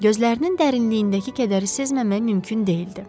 Gözlərinin dərinliyindəki kədəri sezməmək mümkün deyildi.